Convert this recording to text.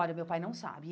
Olha, meu pai não sabe.